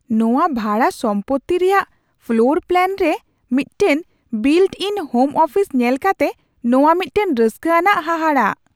ᱱᱚᱶᱟ ᱵᱷᱟᱲᱟ ᱥᱚᱢᱯᱚᱛᱛᱤ ᱨᱮᱭᱟᱜ ᱯᱷᱞᱳᱨ ᱯᱞᱟᱱ ᱨᱮ ᱢᱤᱫᱴᱟᱝ ᱵᱤᱞᱴᱼᱤᱱ ᱦᱳᱢ ᱚᱯᱷᱤᱥ ᱧᱮᱞ ᱠᱟᱛᱮ ᱱᱚᱶᱟ ᱢᱤᱫᱴᱟᱝ ᱨᱟᱹᱥᱠᱟᱹ ᱟᱱᱟᱜ ᱦᱟᱦᱟᱲᱟᱜ ᱾